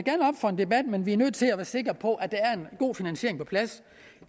for en debat men vi er nødt til at være sikre på at der er en god finansiering på plads